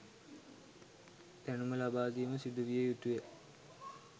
දැනුම ලබා දීම සිදුවිය යුතුය.